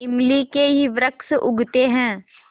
इमली के ही वृक्ष उगते हैं